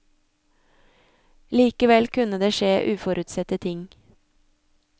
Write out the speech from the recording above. Likevel kunne det skje uforutsette ting.